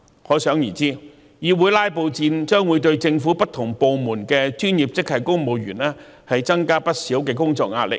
可想而知，議會"拉布"戰將會對政府不同部門的專業職系公務員增加不少工作壓力。